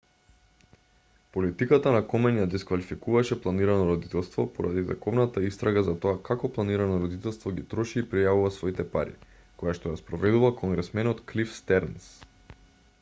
политиката на комен ја дисквалификуваше планирано родителство поради тековната истрага за тоа како планирано родителство ги троши и пријавува своите пари којашто ја спроведува конгресменот клиф стернс